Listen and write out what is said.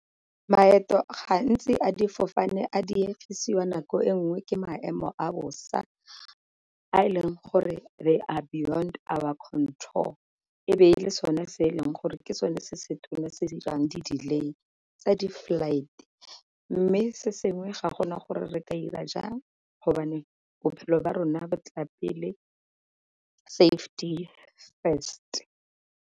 Maeto gantsi a difofane a diegisiwa nako e nngwe ke maemo a bosa a e leng gore they are beyond our control, e be e le sone se e leng gore ke sone se se tona se se dirang di-delay tsa di-flight. Mme se sengwe ga gona gore re ka ira jang go bophelo ba rona ba tla pele, safety first.